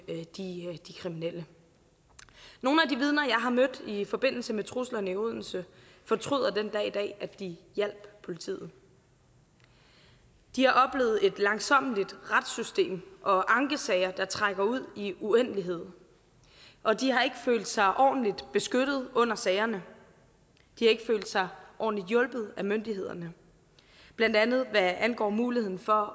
de kriminelle nogle af de vidner jeg har mødt i forbindelse med truslerne i odense fortryder den dag i dag at de hjalp politiet de har oplevet et langsommeligt retssystem og ankesager der trækker ud i en uendelighed og de har ikke følt sig ordentligt beskyttet under sagerne de har ikke følt sig ordentligt hjulpet af myndighederne blandt andet hvad angår muligheden for